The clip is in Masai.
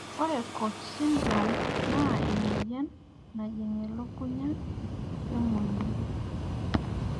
Ore COACH syndrome naa emoyian najing' elukunya we monyua